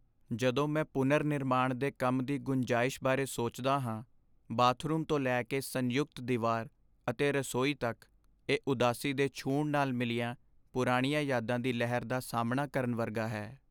ਜਦੋਂ ਮੈਂ ਪੁਨਰ ਨਿਰਮਾਣ ਦੇ ਕੰਮ ਦੀ ਗੁੰਜਾਇਸ਼ ਬਾਰੇ ਸੋਚਦਾ ਹਾਂ ਬਾਥਰੂਮ ਤੋਂ ਲੈ ਕੇ ਸੰਯੁਕਤ ਦੀਵਾਰ ਅਤੇ ਰਸੋਈ ਤੱਕ ਇਹ ਉਦਾਸੀ ਦੇ ਛੂਹਣ ਨਾਲ ਮਿਲੀਆਂ ਪੁਰਾਣੀਆਂ ਯਾਦਾਂ ਦੀ ਲਹਿਰ ਦਾ ਸਾਹਮਣਾ ਕਰਨ ਵਰਗਾ ਹੈ